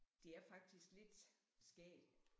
Det er faktisk lidt skægt